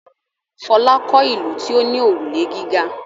Fọlá kọ́ ìlú tí ó ní òrùlé gíga.